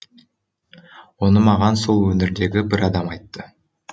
оны маған сол өңірдегі бір адам айтты